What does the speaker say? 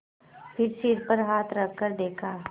फिर सिर पर हाथ रखकर देखा